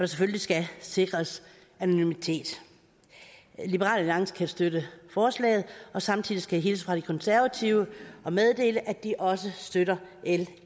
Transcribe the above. selvfølgelig skal sikres anonymitet liberal alliance kan støtte forslaget og samtidig skal jeg hilse fra de konservative og meddele at de også støtter l